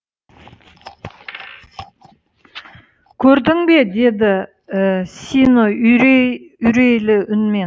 көрдің бе деді сино үрейлі үнмен